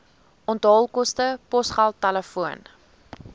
onthaalkoste posgeld telefoon